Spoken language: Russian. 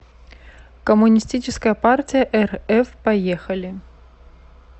коммунистическая партия рф поехали